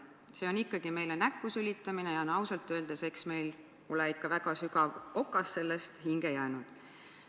See on ikkagi meile näkku sülitamine ja ausalt öeldes eks meil ole ikka väga sügav okas sellest hinge jäänud.